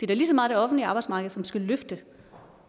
da lige så meget det offentlige arbejdsmarked som forhåbentlig skal løfte